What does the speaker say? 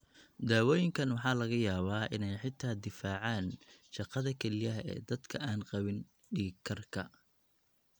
Daawooyinkan waxaa laga yaabaa inay xitaa difaacaan shaqada kelyaha ee dadka aan qabin dhiig karka.